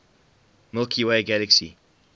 milky way galaxy